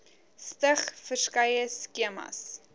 stig verskeie skemas